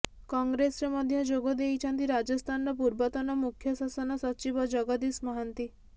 କଂଗ୍ରେସରେ ମଧ୍ୟ ଯୋଗ ଦେଇଛନ୍ତି ରାଜସ୍ଥାନର ପୂର୍ବତନ ମୁଖ୍ୟ ଶାସନ ସଚିବ ଜଗଦିଶ ମହାନ୍ତି